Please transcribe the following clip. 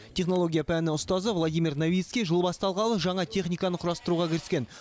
технология пәнінің ұстазы владимир новицкий жыл басталғалы жаңа техниканы құрастыруға кіріскен